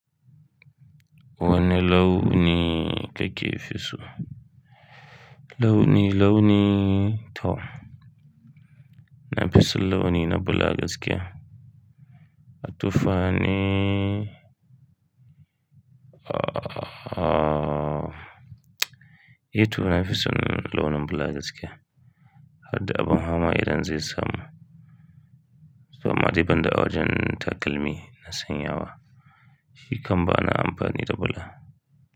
Wane launi kake fi so? Launi, launi, to. Na fi son launi na bula gaskiya. A tuffa ni, ah, eh toh na fi son launin bula gaskiya. Harda abin haka ma idan zai samu. Amma dai banda awajan takalmi na sanyawa, shi kam bana amfani da bula.